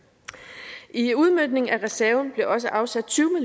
i udmøntningen af reserven blev også afsat tyve